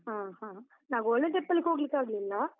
ಹಾ ಹ, ನಾವ್ golden temple ಗ್ ಹೋಗ್ಲಿಕ್ಕಾಗ್ಲಿಲ್ಲ.